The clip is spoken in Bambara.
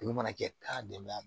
Dugu mana kɛ k'a bɛn a